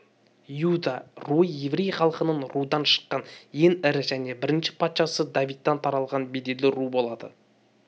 иуда руы еврей халқының рудан шыққан ең ірі және бірінші патшасы давидтан таралған беделді ру болады